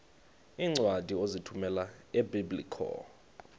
iincwadi ozithumela ebiblecor